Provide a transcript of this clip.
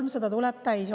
See 300 000 tuleb täis.